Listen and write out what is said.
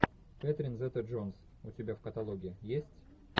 кэтрин зета джонс у тебя в каталоге есть